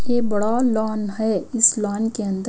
ये बड़ा लॉन है इस लॉन के अंदर--